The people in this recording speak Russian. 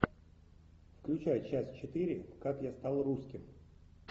включай часть четыре как я стал русским